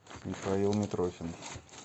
михаил митрохин